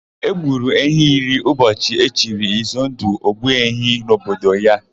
E gburu ehi iri ụbọchị e chiri Izundụ, Ogbuehi n'obodo ya.